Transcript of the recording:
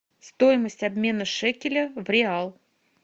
стоимость обмена шекеля в реал